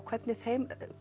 hvernig